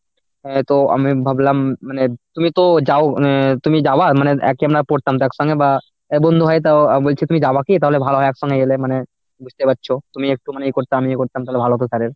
আহ তো আমি ভাবলাম মানে তুমি তো যাও উম তুমি যাবা মানে একই আমরা পড়তাম তো একসঙ্গে বা বন্ধু হয় তাও অ্যাঁ বলছি তুমি যাবা কি তাহলে ভালো হয় একসঙ্গে গেলে মানে বুঝতে পারছ তুমি একটুখানি করতে আমিও করতাম তাহলে ভালো হতো sir এর।